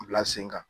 Bila sen kan